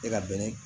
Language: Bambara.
E ka bɛnɛ